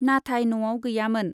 नाथाय न'आव गैयामोन।